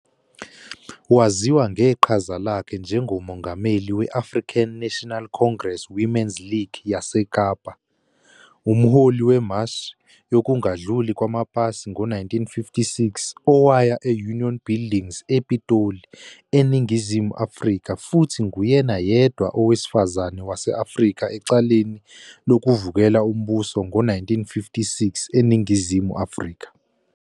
Waziwa ngeqhaza lakhe njengoMongameli we-African National Congress Women's League yaseKapa, umholi wemashi yokungadluli kwamapasi ngo-1956 owaya e-Union Buildings ePitoli, eNingizimu Afrika futhi nguyena yedwa owesifazane wase-Afrika ecaleni lokuvukela umbuso ngo-1956 eNingizimu Afrika.